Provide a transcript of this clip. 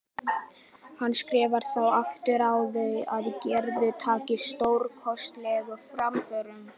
Handskrifar þá sjálfur á það að Gerður taki stórkostlegum framförum.